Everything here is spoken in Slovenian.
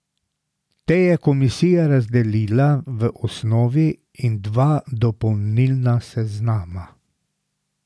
Te je komisija razdelila v osnovni in dva dopolnilna seznama.